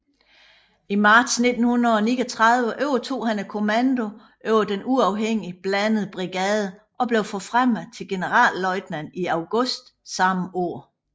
I marts 1939 overtog han kommandoen over den uafhængige blandede brigade og blev forfremmet til generalløjtnant i august samme år